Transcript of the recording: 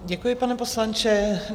Děkuji, pane poslanče.